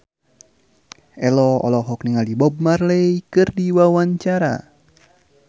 Ello olohok ningali Bob Marley keur diwawancara